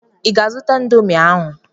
I ga-azụta ịndomii ahụ?